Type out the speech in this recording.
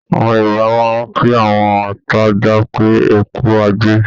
Àwọn Yorùbá máa ń kí àwọn atajà pé, "ẹkú ajé"